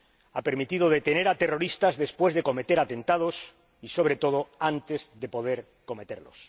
Ha permitido detener a terroristas después de cometer atentados y, sobre todo, antes de poder cometerlos.